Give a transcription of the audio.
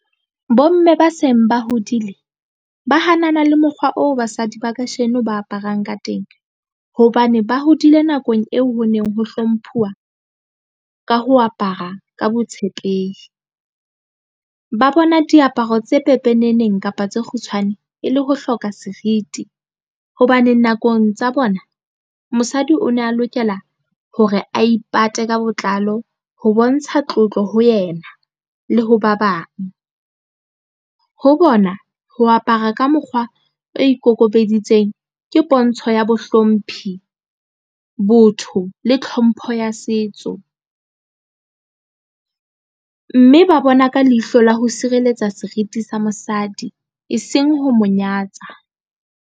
Bomme ba seng ba hodile ba hanana le mokgwa oo basadi ba kajeno ba aparang ka teng hobane ba hodile nakong eo ho neng ho hlomphwa ka ho apara ka botshepehi ba bona diaparo tse pepeneneng kapa tse kgutshwane e le ho hloka seriti hobane nakong tsa bona mosadi o ne a lokela hore a ipate ka botlalo ho bontsha tlotlo ho yena le ho ba bang ho bona. Ho apara ka mokgwa o ikokobeditseng ke pontsho ya mohlomphi, botho le tlhompho ya setso mme ba bona ka leihlo le ho sireletsa seriti sa mosadi e seng ho monyatsa.